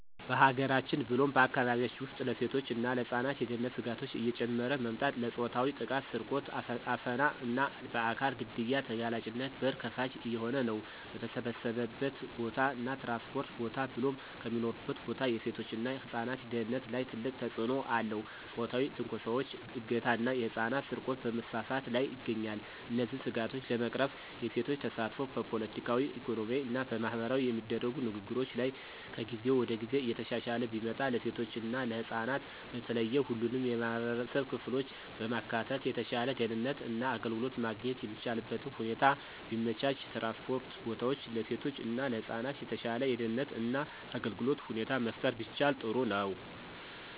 በሀገራችን ብሎም በአካባቢያችን ውስጥ ለሴቶች እና ለህፃናት የደህንነት ስጋቶች እየጨመረ መምጣት ለፆታዊ ጥቃት፣ ስርቆት፣ አፈና እና በአካል ግድያ ተጋላጭነት በር ከፋች እየሆነ ነው። በተሰበሰበበት ቦታ እና ትራንስፖርት ቦታ ብሎም ከሚኖሩበት ቦታ የሴቶች እና ህፃናት ደህንነት ላይ ትልቅ ተጽእኖ አለው ፆታዊ ትንኮሳዎች፣ እገታ ና የህፃናት ስርቆት በመስፋፋት ላይ ይገኛል። እነዚህን ስጋቶች ለመቅረፍ የሴቶች ተሳትፎ በፖለቲካዊ፣ ኢኮኖሚያዊ እና ማህበራዊ የሚደረጉ ንግግሮች ላይ ከጊዜ ወደ ጊዜ እየተሻሻለ ቢመጣ፣ ለሴቶች እና ህፃናት በተለየ ሁሉንም የማህበረሰብ ክፍሎች በማካተት የተሻለ ደህንነት እና አገልግሎት ማግኘት የሚቻልበትን ሁኔታ ቢመቻች፣ ትራንስፖርት ቦታዎች ለሴቶች እና ለህፃናት የተሻለ የደህንነት እና አገልግሎት ሁኔታ መፍጠር ቢቻል ጥሩ ነው።